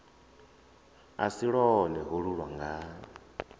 a si lwone holu lwanga